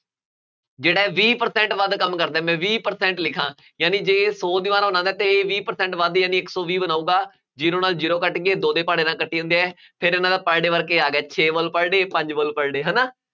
ਜਿਹੜਾ A ਵੱਧ ਕੰਮ ਕਰਦਾ, ਮੈਂ ਵੀਹ percent ਲਿਖਾਂ, ਯਾਨੀ ਜੇ ਇਹ ਸੌ ਦੀਵਾਰਾਂ ਬਣਾਉਂਦਾ ਤਾਂ A ਵੀਹ percent ਵੱਧ ਹੀ ਯਾਨੀ ਇੱਕ ਸੌ ਵੀਹ ਬਣਾਊਗਾ, zero ਨਾਲ zero ਕੱਟ ਗਏ, ਦੋ ਦੇ ਪਹਾੜੇ ਨਾਲ ਕੱਟੀ ਜਾਂਦੇ ਆ, ਫੇਰ ਇਹਨਾ ਦਾ per day work ਇਹ ਆ ਗਿਆ, ਛੇ wall per day ਪੰਜ wall per day ਹੈ ਨਾ